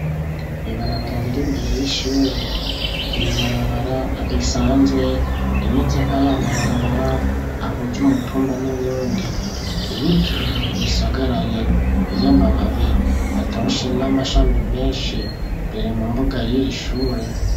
Ibarabara riri imbere y'ishure nibarabara risanzwe rimeze nkayamabarabara ahuze umutumba n'uyundi ibiti ibisagaraye vy'amababi atoshe n'amashami menshi bire mu mbuga y'iri shure.